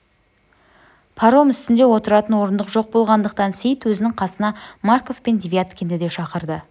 паром үстінде отыратын орындық жоқ болғандықтан сейіт өзінің қасына марков пен девяткинді де шақырды